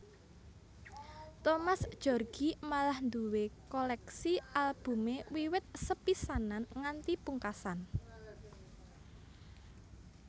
Thomas Djorghi malah nduwé kolèksi albumé wiwit sepisanan nganti pungkasan